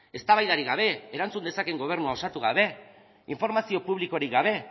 eztabaidarik gabe erantzun dezakeen gobernua osatu gabe informazio publikorik gabe